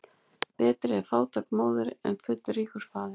Betri er fátæk móðir en fullríkur faðir.